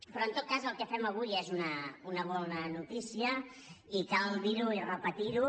però en tot cas el que fem avui és una bona notícia i cal dir·ho i repetir·ho